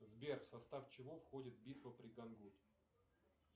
сбер в состав чего входит битва при гангуд